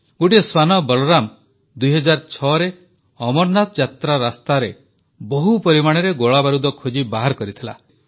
ଗୋଟିଏ ଶ୍ୱାନ ବଳରାମ 2006ରେ ଅମରନାଥ ଯାତ୍ରା ରାସ୍ତାରେ ବହୁ ପରିମାଣର ଗୋଳାବାରୁଦ ଖୋଜି ବାହାର କରିଥିଲା